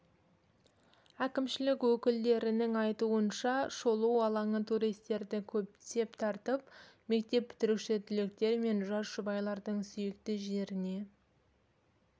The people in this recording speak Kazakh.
әкімшілік өкілдерінің айтуынша шолу алаңы туристерді көптеп тартып мектеп бітіруші түлектер мен жас жұбайлардың сүйікті жеріне